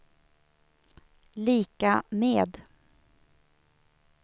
lika med